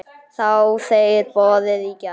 Þáðu þeir boðið í gær.